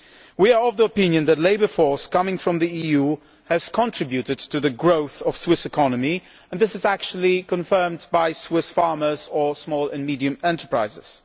We are of the opinion that the labour force coming from the EU has contributed to the growth of the Swiss economy, and this is actually confirmed by Swiss farmers and small and medium sized enterprises.